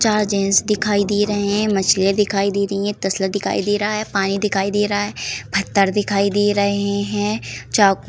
चार जेंट्स दिखाई दे रहे हैं। मछलियाँ दिखाई दे रही हैं। तसला दिखाई दे रहा है। पानी दिखाई दे रहा है। फत्तर दिखाई दे रहे हैं। चाकू --